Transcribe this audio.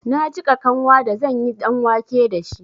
Na jiƙa kanwa da zanyi ɗanwake dashi.